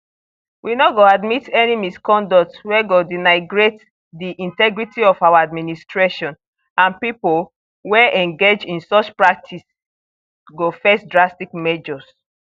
we no go admit any misconduct wey go denigrates di integrity of our administration and pipo wey engage in such practices go face drastic measures